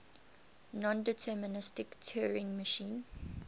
nondeterministic turing machine